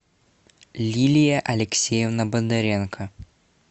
лилия алексеевна бондаренко